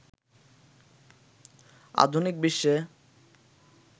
আধুনিক বিশ্বে